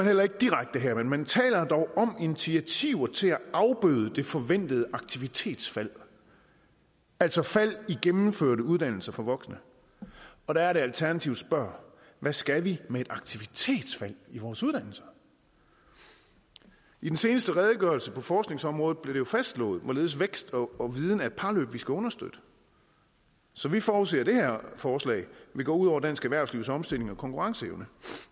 heller ikke direkte her men man taler dog om initiativer til at afbøde det forventede aktivitetsfald altså et fald i gennemførte uddannelser for voksne og der er det alternativet spørger hvad skal vi med et aktivitetsfald i vores uddannelser i den seneste redegørelse på forskningsområdet blev det jo fastslået hvorledes vækst og viden er et parløb vi skal understøtte så vi forudser at det her forslag vil gå ud over dansk erhvervslivs omstillings og konkurrenceevne